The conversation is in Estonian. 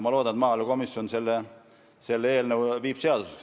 Ma loodan, et maaelukomisjon menetleb seda eelnõu, et see saaks seaduseks.